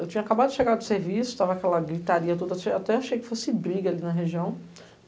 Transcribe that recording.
Eu tinha acabado de chegar do serviço, estava aquela gritaria toda, até achei que fosse briga ali na região.